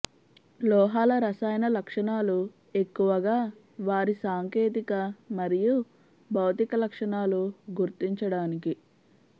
లోహాల రసాయన లక్షణాలు ఎక్కువగా వారి సాంకేతిక మరియు భౌతిక లక్షణాలు గుర్తించడానికి